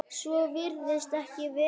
Svo virðist ekki vera.